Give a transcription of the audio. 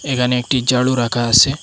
এখানে একটি ঝাড়ু রাখা আসে।